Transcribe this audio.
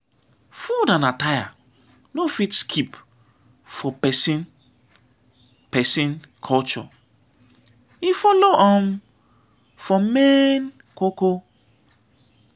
food and attire no fit skip for pesin pesin culture e follow um for main ko ko.